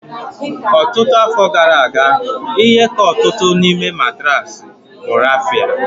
Ọtụtụ afọ gara aga, ihe ka ọtụtụ n'ime matraasi bụ raffia